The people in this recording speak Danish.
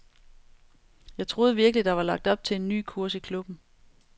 Jeg troede virkelig, der var lagt op til en ny kurs i klubben.